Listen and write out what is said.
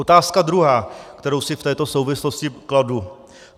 Otázka druhá, kterou si v této souvislosti kladu.